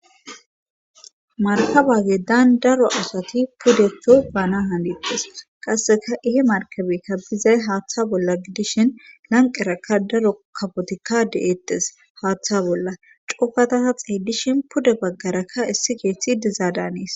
Markabage daan daro asati pudeto baana handites qasseka ihe markabekka bizay haaththa bolla gidishin lanqerakka daro kabotikka de'ettes haaththa bolla cofata xeeydishin puda baggarakka issi geeththi dizaadaaniis.